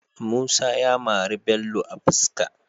Musa ya mari Bello a fiska